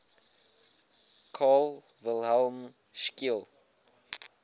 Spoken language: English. carl wilhelm scheele